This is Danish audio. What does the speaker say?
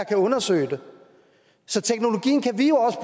kan undersøge det så teknologien kan vi